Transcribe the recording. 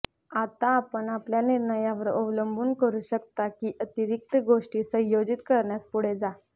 आता आपण आपल्या निर्णयावर अवलंबून करू शकता की अतिरिक्त गोष्टी संयोजीत करण्यास पुढे जा